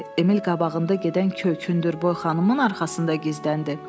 Emil qabağında gedən kök, hündürboy xanımın arxasında gizləndi.